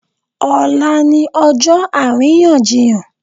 Ọ̀la ni ọjọ́ àríyànjiyàn.